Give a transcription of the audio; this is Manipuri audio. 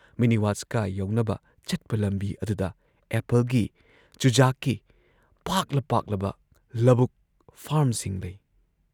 ꯃꯤꯅꯤ ꯋꯥꯁꯀꯥ ꯌꯧꯅꯕ ꯆꯠꯄ ꯂꯝꯕꯤ ꯑꯗꯨꯗ ꯑꯦꯄꯜꯒꯤ, ꯆꯨꯖꯥꯛꯀꯤ ꯄꯥꯛꯂ ꯄꯥꯛꯂꯕ ꯂꯕꯨꯛ ꯐꯥꯔꯝꯁꯤꯡ ꯂꯩ ꯫